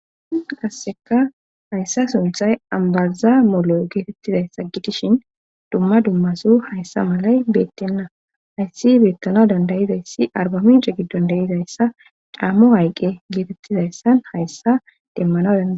Qasseka hayssa sunthay ambaza molo geetettizay sa gitishin dumma dummaso hayssa malay beettenna hayssi beettana dandayizayssi arbamice gidandayizayssa caammo hayqqe geetettizayssan hayssa demmana dada.